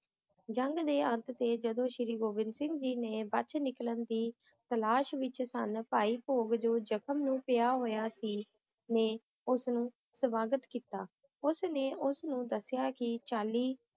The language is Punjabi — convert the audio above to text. ਜੰਗ ਦੇ ਅੰਤ ਤੇ, ਜਦੋਂ ਸ਼੍ਰੀ ਗੁਰੂ ਗੋਬਿੰਦ ਸਿੰਘ ਜੀ ਨੇ ਬਚ ਨਿਕਲਣ ਦੀ ਤਲਾਸ਼ ਵਿੱਚ ਸਨ, ਭਾਈ ਭੋਗ, ਜੋ ਜ਼ਖ਼ਮ ਨੂੰ ਪਿਆ ਹੋਇਆ ਸੀ, ਨੇ ਉਸਨੂੰ ਸਵਾਗਤ ਕੀਤਾ, ਉਸ ਨੇ ਉਸ ਨੂੰ ਦੱਸਿਆ ਕਿ ਚਾਲੀ